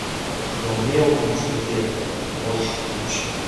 гномео и джульетта можешь включить